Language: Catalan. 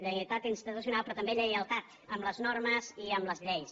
lleial·tat institucional però també lleialtat amb les normes i amb les lleis